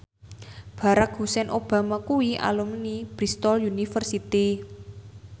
Barack Hussein Obama kuwi alumni Bristol university